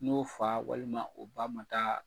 N'o fa walima o ba ma taa